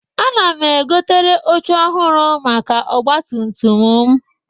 Ana m egotere oche ọhụrụ maka ọgbatumtum m.